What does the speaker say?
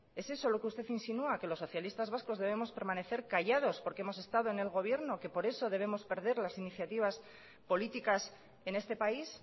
es eso lo que usted insinuá que los socialistas vascos debemos permanecer callados porque hemos estado en el gobierno que por eso debemos perder las iniciativas políticas en este país